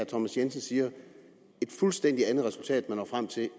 thomas jensens siger et fuldstændig andet resultat man når frem til